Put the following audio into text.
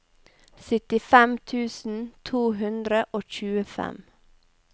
syttifem tusen to hundre og tjuefem